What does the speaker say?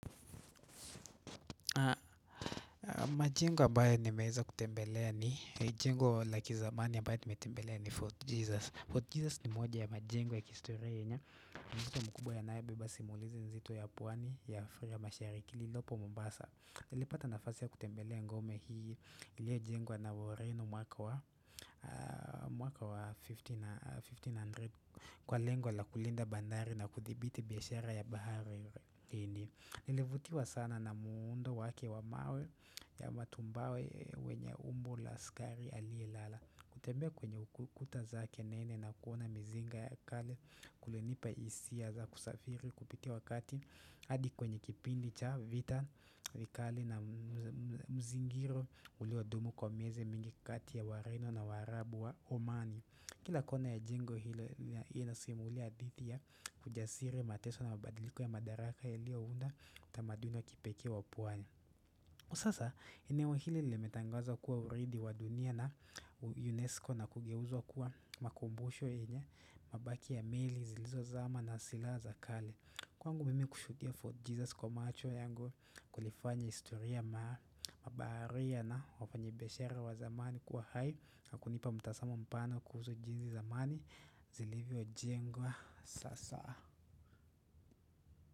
Majengo ambayo nimeza kutembelea ni jengo la kizamani ambae nimetembelea ni Fort Jesus. Fort Jesus ni moja ya majengo ya kistarehe. Ni unzito mkubwa yanayebeba simulizi nzito ya pwani ya afrika ya mashariki lilopo mombasa. Nilipata nafasi ya kutembelea ngome hii iliajengwa na woreno mwaka wa mwaka wa 1500 kwa lengo la kulinda bandari na kuthibiti biashara ya bahari hini. Nilevutiwa sana na muundo wake wa mawe ya matumbawe wenye umbo la askari aliyelala kutembea kwenye ukuta za kenene na kuona mizinga ya kale kulinipa hisia za kusafiri kupitia wakati adi kwenye kipindi cha vita vikali na mzingiro uliwa ndumu kwa miezi mingi kati ya wareno na waraabu wa omani Kila kona ya jengo linasimulia hadithi ya ujasili mateso na mabadiliko ya madaraka yaliyounda utamaduni wa kipekee wa pwani. Sasa eneu hili limetangazwa kuwa uraidi wa dunia na UNESCO na kugeuzwa kuwa makumbusho yenye, mabaki ya meli, zilizozama na silaha za kale. Kwangu mimi kushuhudia fort Jesus kwa macho yangu kulifanya historia ma baharia na wafanyibishara wa zamani kwa hai Nakunipa mtazama mpano kuhusu jinsi zamani zilivyojengwa sasa.